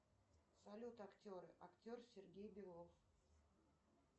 салют актеры актер сергей белов